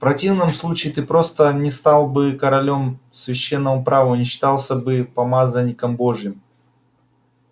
в противном случае ты просто не стал бы королём священному праву и не считался бы помазанником божьим